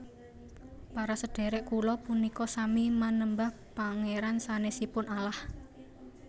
Para sedherek kula punika sami manembah Pangeran sanesipun Allah